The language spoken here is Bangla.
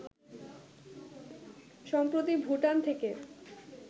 সম্প্রতি ভুটান থেকে